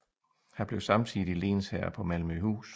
Han blev samtidig lensherre på Malmøhus